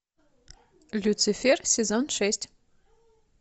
люцифер сезон шесть